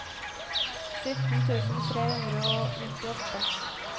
sytten tusen tre hundre og nittiåtte